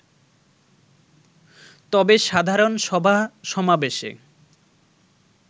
তবে সাধারণ সভা-সমাবেশে